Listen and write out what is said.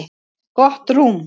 Gott rúm